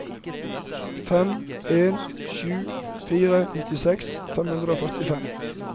fem en sju fire nittiseks fem hundre og førtifem